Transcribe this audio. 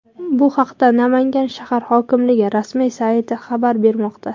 Bu haqda Namangan shahar hokimligi rasmiy sayti xabar bermoqda .